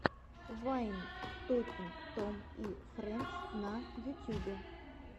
вайн токинг том и фрэндс на ютюбе